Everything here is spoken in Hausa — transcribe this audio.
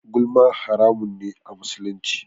Gulma haramun ne a musulunci.